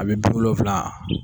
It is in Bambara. A bɛ bi wolonfila.